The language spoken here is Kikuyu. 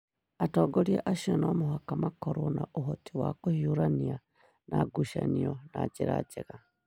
atongoria acio no mũhaka makorũo na ũhoti wa kũhiũrania na ngucanio na njĩra njega